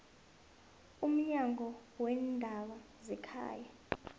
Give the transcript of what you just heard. umnyango weendaba zekhaya